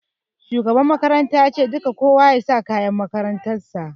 Shugaban makaranta ya ce 'Dole kowa ya sa kayan makarantar sa'!